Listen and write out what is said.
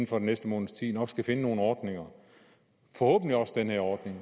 for den næste måneds tid nok skal finde nogle ordninger og forhåbentlig også den her ordning